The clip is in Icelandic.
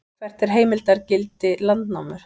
hvert er heimildargildi landnámu